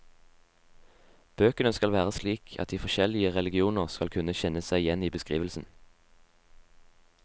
Bøkene skal være slik at de forskjellige religioner skal kunne kjenne seg igjen i beskrivelsen.